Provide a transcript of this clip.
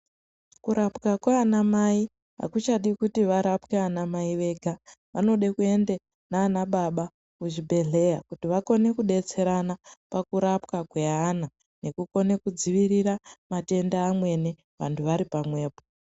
Kurapwa kwana Mai hakuchadi kuti kurapwe ana Mai vega vanoda kuenda nana baba kuzvibhehleya vakone kudetserana pakurapwa kwevana tikone kudziirira matenda amweni vari pamwepo.